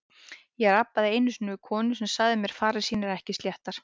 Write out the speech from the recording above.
Ég rabbaði einu sinni við konu sem sagði farir sínar ekki sléttar.